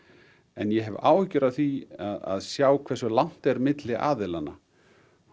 en ég hef áhyggjur af því að sjá hversu langt er milli aðilanna